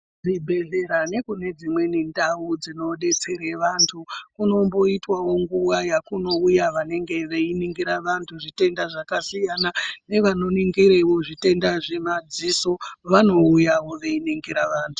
Zvibhedhlera nekune dzimweni ndau dzinodetsere vanthu kunomboitewo nguwayekunouye vanthu vanoningira vanthu zvitenda zvakasiyana nevanoningirewo zvitenda zvemaziso vanouyawo veiningira vanthu.